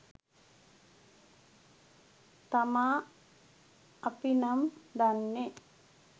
තමා අපි නම් දන්නේ.